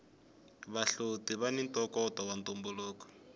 vahloti vani ntokoto wa ntumbuluko